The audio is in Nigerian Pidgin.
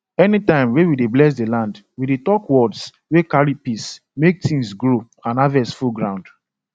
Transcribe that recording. anytime we dey bless land we dey talk words wey carry peace make things grow and harvest full ground